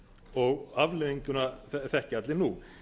og afleiðinguna þekkja allir nú